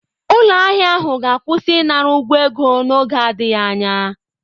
Ụlọ ahịa ahụ ga-akwụsị ịnara ụgwọ ego n'oge adịghị anya.